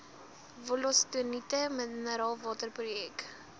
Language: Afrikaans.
wollostonite mineraalwater projek